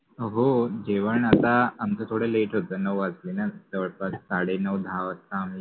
हो, जेवन आता आमच थोड लेट होत नऊ वाजलेन जवळ्पास साडे नऊ दहा वाजता